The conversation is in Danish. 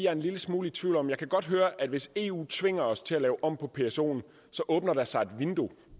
er en lille smule i tvivl om det jeg kan godt høre at hvis eu tvinger os til at lave om på psoen åbner der sig et vindue